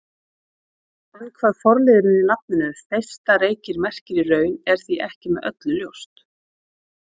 En hvað forliðurinn í nafninu Þeistareykir merkir í raun er því ekki með öllu ljóst.